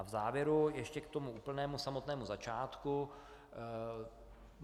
A v závěru ještě k tomu úplnému samotnému začátku.